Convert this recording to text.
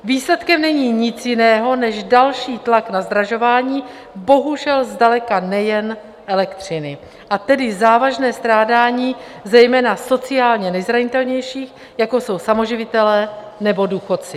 Výsledkem není nic jiného než další tlak na zdražování, bohužel zdaleka nejen elektřiny, a tedy závažné strádání zejména sociálně nejzranitelnějších jako jsou samoživitelé nebo důchodci.